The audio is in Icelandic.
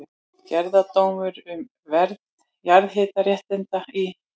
Gerðardómur um verð jarðhitaréttinda í